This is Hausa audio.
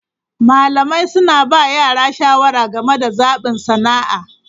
Malamai suna ba yara shawara game da zaɓin sana'a.